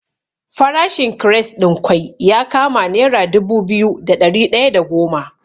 Farashin kires ɗin kwai ya kama nera dubu biyu da ɗari ɗaya da goma.